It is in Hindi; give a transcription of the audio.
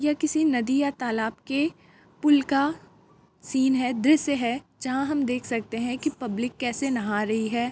यह किसी नदी या तालाब के पुल का सीन है दृश्य है जहाँ हम देख सकते हैं पब्लिक कैसे नहा रही है।